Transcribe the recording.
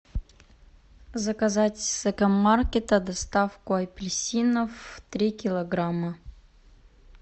заказать с экомаркета доставку апельсинов три килограмма